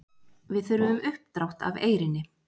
Við þurfum uppdrátt af Eyrinni.